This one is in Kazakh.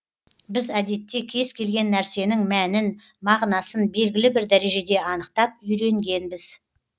біз әдетте кез келген нәрсенің мәнін мағынасын белгілі бір дәрежеде анықтап үйренгенбіз